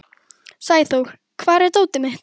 Sæþór, hvar er dótið mitt?